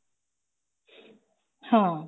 ਹਾਂ